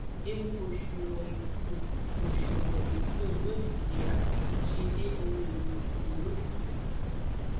ewu oṣuwọn iwulo oṣuwọn iwulo yoo dide ati idiyele ohun elo gbese yoo ṣubu